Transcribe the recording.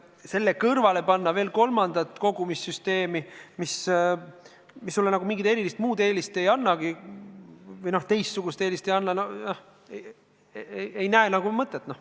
Selle kõrval pidada veel kolmandat kogumissüsteemi, mis sulle mingit teistsugust eelist ei anna – ei näe nagu mõtet.